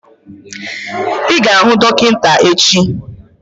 I ga-ahụ dọkịta echi!